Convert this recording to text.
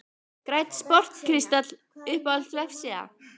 Grænn sport kristall Uppáhalds vefsíða?